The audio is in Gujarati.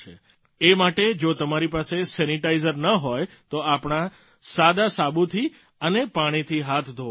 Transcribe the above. એ માટે જો તમારી પાસે સેનીટાઇઝર ન હોય તો આપણા સાદા સાબુથી અને પાણીથી હાથ ધોવાના છે